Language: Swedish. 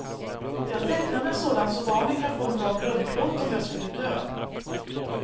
Jag tecknade en sådan så barnen kan få en bra grundplåt om jag skulle dö.